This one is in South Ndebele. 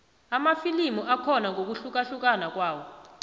amafilimu akhona ngokuhlukahlukana kwawo